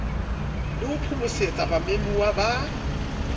le ho phomosetsa bamemuwa ba